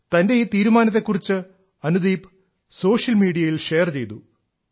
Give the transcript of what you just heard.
തന്റെ ഈ തീരുമാനത്തെ കുറിച്ച് അനുദീപ് സോഷ്യൽ മീഡിയയിൽ ഷെയർ ചെയ്തു